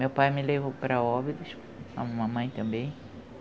Meu pai me levou para Óbidos, a mamãe também.